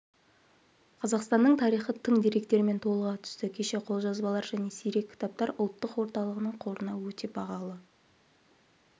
қазақстанның тарихы тың деректермен толыға түсті кеше қолжазбалар және сирек кітаптар ұлттық орталығының қорына өте бағалы